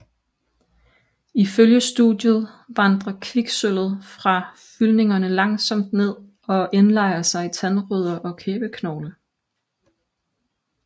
Ifølge studiet vandrer kviksølvet fra fyldningerne langsomt ned og indlejrer sig i tandrødder og kæbeknogle